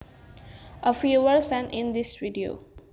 A viewer sent in this video